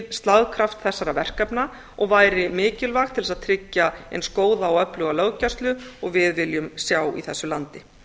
slagkraft þessara verkefna og væri mikilvægt til þess að tryggja eins góða og öfluga löggæslu og við viljum sjá í þessu landi